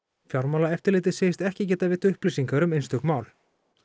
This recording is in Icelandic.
fjármálaeftirlitið segist ekki geta gefið upplýsingar um einstök mál